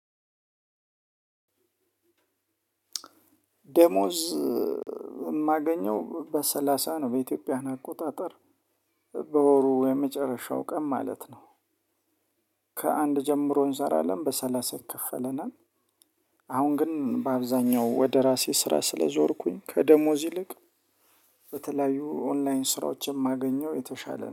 ዴሞዝ የማገኘው በሰላሳ ነው በኢትዮጵያ አቆጣጠር በወሩ የመጨረሻው ቀን ማለት ነው። ከአንድ ጀምሮ እንሰራለን በሰላሳ ይከፈለናል። አሁን ግን በአብዛኛው ወደ ራሴ ስራ ስለዞርኩኝ ከደሞዝ ይልቅ በተለያዩ ኦንላይን ስራዎችን የማገኘው የተሻለ